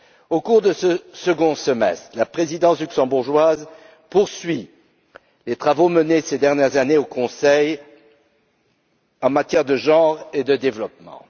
Au cours de ce second semestre, la Présidence luxembourgeoise poursuit les travaux menés ces dernières années au Conseil en matière de genre et de développement.